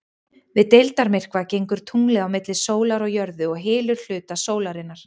Við deildarmyrkva gengur tunglið á milli sólar og jörðu og hylur hluta sólarinnar.